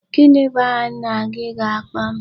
Gini bu aha nna gị ga-akpo m?